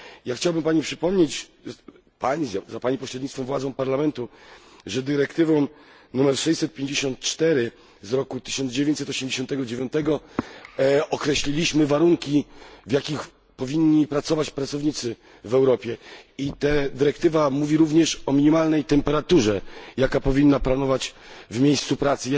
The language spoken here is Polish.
Chciałbym przypomnieć Pani, a za Pani pośrednictwem władzom Parlamentu, że dyrektywą nr 654 z roku 1989 określiliśmy warunki, w jakich powinni pracować pracownicy w Europie, i ta dyrektywa mówi również o minimalnej temperaturze, jaka powinna panować w miejscu pracy.